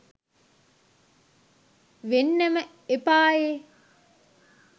වෙන්නම එපායේ